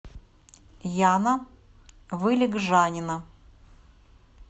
яна вылегжанина